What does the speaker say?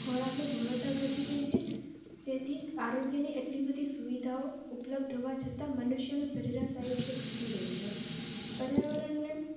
ખોરકની ગુણવત્તા ઘટી ગઈ છે જેથી આરોગ્યની એટલી બધી સુવિધાઓ ઉપલબ્ધ હોવા છતાં મનુષ્યનું સરેરાશ આયુષ્ય ઘટી રહ્યું છે પર્યાવરણ.